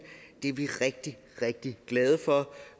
og det er vi rigtig rigtig glade for